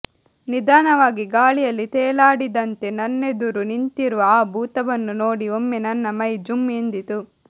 ನಿಧಾನವಾಗಿ ಗಾಳಿಯಲ್ಲಿ ತೇಲಾಡಿದಂತೆ ನನ್ನೆದುರು ನಿಂತಿರುವ ಆ ಭೂತವನ್ನು ನೋಡಿ ಒಮ್ಮೆ ನನ್ನ ಮೈ ಜುಮ್ ಎಂದಿತು